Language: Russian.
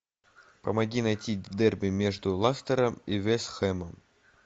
помоги найти дерби между лестером и вест хэмом